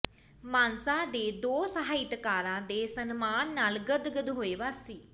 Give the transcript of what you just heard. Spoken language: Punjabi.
ਮਾਨਸਾ ਦੇ ਦੋ ਸਾਹਿਤਕਾਰਾਂ ਦੇ ਸਨਮਾਨ ਨਾਲ ਗਦਗਦ ਹੋਏ ਵਾਸੀ